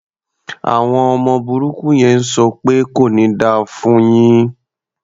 Àwọn ọmọ burúkú yẹn ń sọ pẹ́ "kò ní da fún un yín".